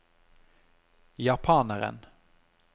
japaneren